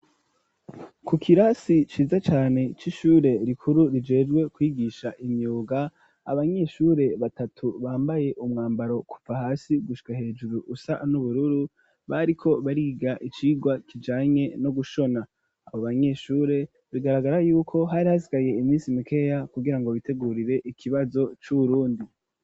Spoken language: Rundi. ku kirasi ciza cane c,ishure rikuru rijejwe kwigisha imyuga abanyeshure batatu bambaye umwambaro kuva hasi gushika hejuru usa n'ubururu bariko bariga icigwa kijanye no gushona abo banyeshure bigaragara yuko hari hasigaye iminsi mikeya kugirango bitegurire ikibazo c'ubrundi.